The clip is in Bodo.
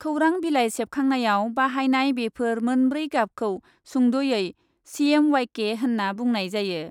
खौरां बिलाइ सेबखांनायाव बाहायनाय बेफोर मोनब्रै गाबखौ सुंद'यै सिएमवाइके होन्ना बुंनाय जायो ।